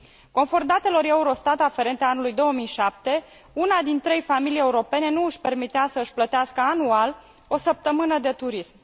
Conform datelor Eurostat aferente anului 2007, una din trei familii europene nu își permitea să își plătească anual o săptămână de turism.